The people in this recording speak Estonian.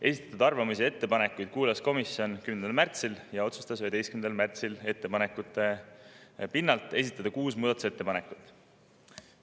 Esitatud arvamusi ja ettepanekuid kuulas komisjon 10. märtsil ja otsustas 11. märtsil ettepanekute pinnalt esitada kuus muudatusettepanekut.